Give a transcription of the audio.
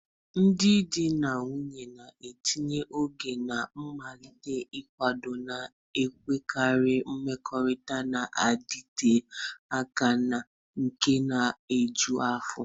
Ndị di na nwunye na-etinye oge na mgbalị n'ịkwado na-enwekarị mmekọrịta na-adịte aka na nke na-eju afọ.